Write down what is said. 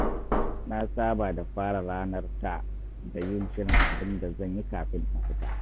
Na saba da fara ranar ta da yin shirin abin da zan yi kafin in fita.